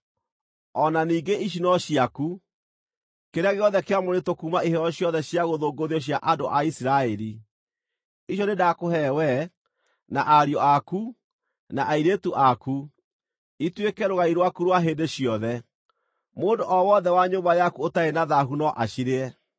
“O na ningĩ ici no ciaku: kĩrĩa gĩothe kĩamũrĩtwo kuuma iheo ciothe cia gũthũngũthio cia andũ a Isiraeli. Icio nĩndakũhe wee, na ariũ aku, na airĩtu aku, ituĩke rũgai rwaku rwa hĩndĩ ciothe. Mũndũ o wothe wa nyũmba yaku ũtarĩ na thaahu no acirĩe.